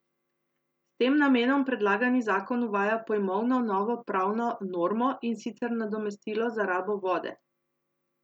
S tem namenom predlagani zakon uvaja pojmovno novo pravno normo in sicer nadomestilo za rabo vode.